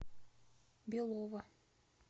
белово